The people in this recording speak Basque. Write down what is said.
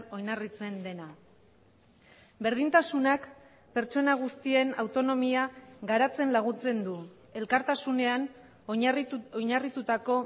oinarritzen dena berdintasunak pertsona guztien autonomia garatzen laguntzen du elkartasunean oinarritutako